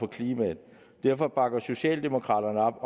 klimaet derfor bakker socialdemokraterne